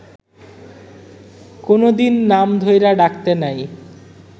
কুনোদিন নাম ধইরা ডাকতে নাই